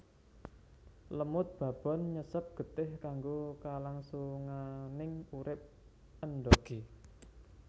Lemud babon nyesep getih kanggo kalangsunganing urip endhogé